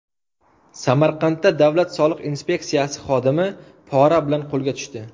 Samarqandda Davlat soliq inspeksiyasi xodimi pora bilan qo‘lga tushdi.